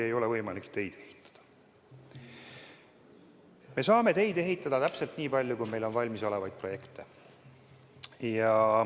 Me saame teid ehitada täpselt nii palju, kui meil on valmisolevaid projekte.